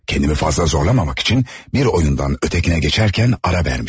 Kəndimi fazla zorlamamaq üçün bir oyundan ötkəyə keçərkən ara vermişdim.